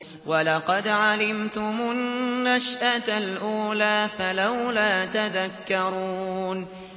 وَلَقَدْ عَلِمْتُمُ النَّشْأَةَ الْأُولَىٰ فَلَوْلَا تَذَكَّرُونَ